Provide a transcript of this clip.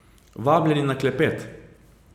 Vabljeni na klepet!